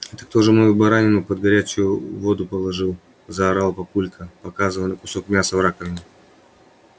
это кто же мою баранину под горячую воду положил заорал папулька показывая на кусок мяса в раковине